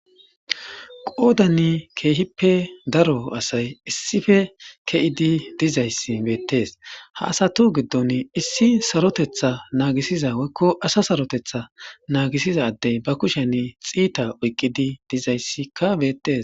Qoodanni keehippe daro asay issife ke'di dizayssi beettes ha asatu giddon issi sarotetha naagisiza woykko asa sarotetha naagisiza addey ba kushen xiita oyqqidi dizayssikka beettes.